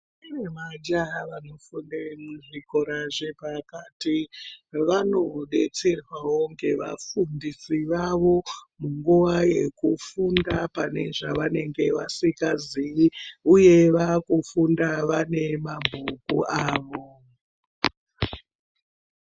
Kune majaha anofunde kuzvikora zvakati kwavanobetserwa woo ngevafundisi vavo ngendaa yokufunda kana pane zvavasingazivi uye vakufunda vane mabhuku avo.